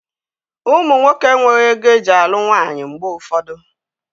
Ụmụ nwoke enweghị ego eji alụ nwaanyị mgbe ụfọdụ